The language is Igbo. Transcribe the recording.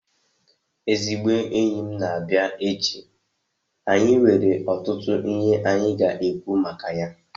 Ezigbo enyi m na-abịa echi, anyị nwere ọtụtụ ihe anyị ga-ekwu maka ya